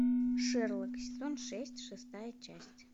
шерлок сезон шесть шестая часть